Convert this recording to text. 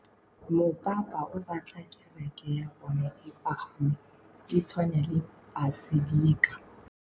Mopapa o batla kereke ya bone e pagame, e tshwane le paselika.